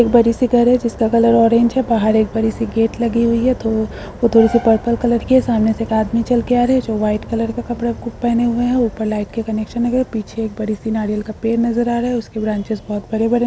घर है जिसका कलर ऑरेंज है बाहर एक बड़ी सी गेट लगी हुई है वो थोड़ी सी पर्पल कलर की है सामने से एक आदमी चल के आ रहा है जो वाइट कलर का कपड़ा पहनें हुए है ऊपर लाइट के कनेक्शन हुए हैं पीछे बड़ी सी नारियल का पेड़ नज़र आ रहा है उसके ब्रांचेस बहुत बड़े-बड़े नज़र आ रहे हैं।